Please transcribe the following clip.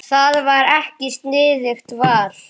Það var ekki sniðugt val.